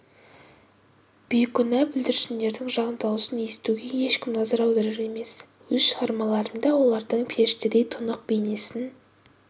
бейкүнә бүлдіршіндердің жан дауысын естуге ешкім назар аударар емес өз шығармаларымда олардың періштедей тұнық бейнесін